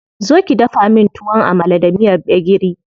Zo ki dafa min Tuwon Amala da miyar gbegiri.